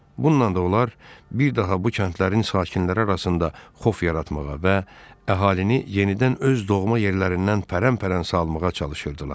Bununla da onlar bir daha bu kəndlərin sakinləri arasında xof yaratmağa və əhalini yenidən öz doğma yerlərindən pərən-pərən salmağa çalışırdılar.